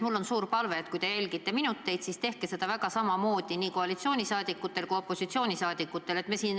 Mul on suur palve, et kui te jälgite minutite kulumist, siis tehke seda koalitsioonisaadikute ja opositsioonisaadikute puhul ühtemoodi.